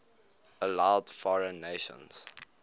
allowed foreign nations